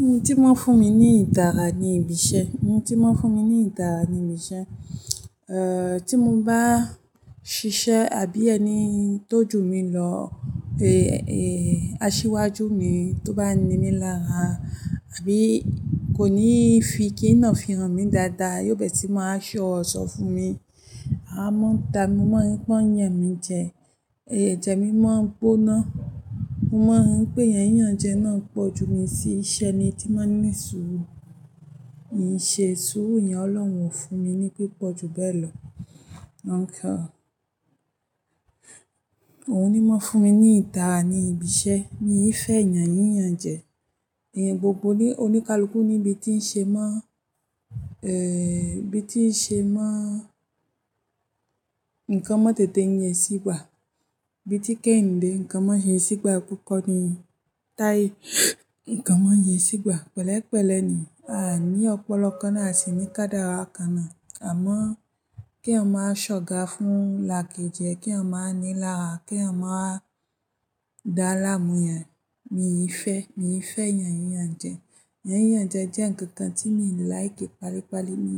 Ohun tí maa fún mi ní ìdára ní ibi iṣẹ́, ohun tí maa fún mi ní ìdára ní ibi iṣẹ́, eh, tí mo bá ṣiṣẹ́ àbí ẹni tó jù mí lọ, eh, eh, aṣíwájú mi tó bá ní mi lára àbí kò ní fi kí ńa fi hàn mí dáadáa, yóò bẹ́ẹ̀ tí máa sọ̀rọ̀ sọ fún mi. A máa ń ta mi, mo máa ń rí pé ó ń yàn mí jẹ, èjè mi máa ń gbóná. Mo máa ń rí pé yán yán jẹ náà ń pọ̀ ju mi sí ṣẹ́ ni tí máa ń ní sùúrù. N ṣe sùúrù yẹn, Ọlọ́run ò fún mi ní pé pọ̀ ju bẹ́ẹ̀ lọ. Òun ní máa fún mi ní ìtara ní ibi iṣẹ́. Mí yí fẹ́ yàn yi yán jẹ. Ìyẹn gbogbo ni oníkálukú níbi tí ń ṣe mọ́, eh, bí tí ń ṣe mọ́ nǹkan mọ́ tètè yẹn sígbà. Bí tí kì yin dé nǹkan mọ́ yẹn sígbà kúkọ̀ ni táyì nǹkan mọ́ yẹn sígbà. Pẹ̀lẹ́pẹ̀lẹ́ ni a ní ọ̀pọ̀lọ kàn náà a sì ní ká dára kànnà. Àmọ́ keyan máa ṣọ̀ga fún l'àkejẹ, keyan máa ní lára, keyan máa dá láàmú yẹn. Mí yí fẹ́, mí yí fẹ́ yàn yi yán jẹ. Yán yi yán jẹ jẹ́ ǹkan kan tí mi láì kí palípalí. Mi,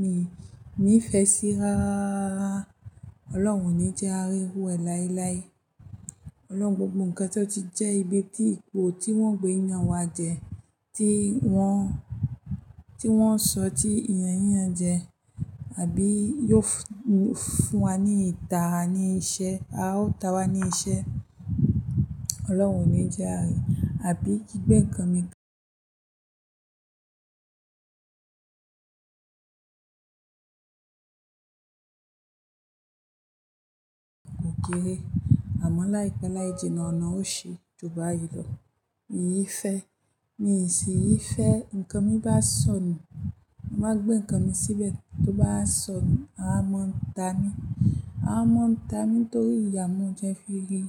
mi, ní fẹ́ sí i rááárárá. Ọlọ́run oní jẹ àárí rú ẹ láéláé. Ọlọ́run gbogbo nǹkan tí ó ti jẹ́ ibi tí ipò tí wọ́n gbé ìyàn wá jẹ, tí wọ́n, tí wọ́n sọ tí ìyàn yi yán jẹ, àbí yóò fún wa ní ìtara ní iṣẹ́. A ó ta wa ní iṣẹ́. Ọlọ́run oní jẹ àárín. Àbí kí gbé nǹkan mi gé. Ó gé. A mo láì pé láì jẹ́ nọ́ọ̀ onọ́ ò sí, ju báyìí lọ. Mí yí fẹ́. Mí sì yí fẹ́. Ǹkan mí bá sọnù, má gbé nǹkan mi síbẹ̀. Tó bá sọnù, a máa ń ta mí. A máa ń ta mí torí ìyà mo jẹ́ fí rí.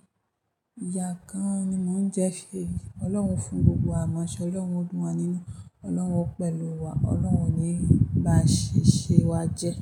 Ìyà gan an ni máa ń jẹ́ fí rí. Ọlọ́run o fún gbogbo wa mo Ṣé Ọlọ́run oo dùn wa nínú? Ọlọ́run ò pẹ̀lú wa. Ọlọ́run oní rí. Ba ṣiṣẹ́ wa jẹ́.